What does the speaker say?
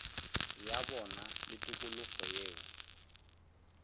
ya bona le tikologo yeo